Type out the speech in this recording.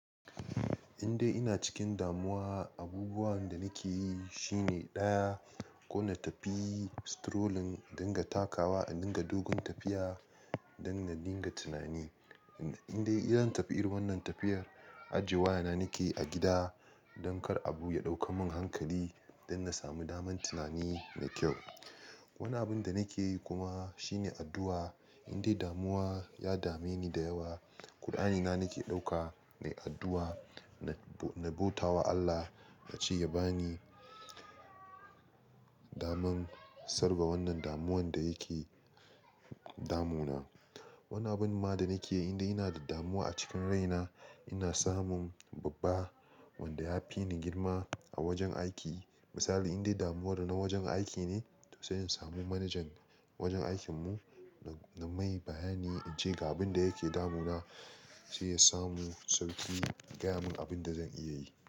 Indai ina cikin damuwa, abubuwan da nake yi shine ɗaya ko na tafi strolling, in dinga takawa, in dinga dogon tafiya don na daina tunani. Indai in zan tafi irin wannan tafiyar, ajiye wayana nake yi a gida don kar abu ya ɗauka mun hankali don na samu damar tunani da kyau. Wani abin da nake yi kuma shine addu'a. Indai damuwa ya dame ni da yawa, Qur'ani na nake ɗaukawa, na yi addu'a, na bauta wa Allah na ce ya bani daman sarwa wannan damuwan da yake damu na. Wani abin ma da nake yi indai ina da damuwa a cikin rai na, ina samun babba wanda ya fi ni girma a wajen aiki. Misali indai damuwan da na wajen aiki ne, to sai in samu manajan wajen aikin mu na mai bayani in ce ga abin da yake damu na, sai ya samu sauƙi ya gaya mun abin da zan iya yi.